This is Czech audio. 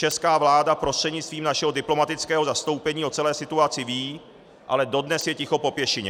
Česká vláda prostřednictvím našeho diplomatického zastoupení o celé situaci ví, ale dodnes je ticho po pěšině.